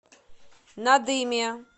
надыме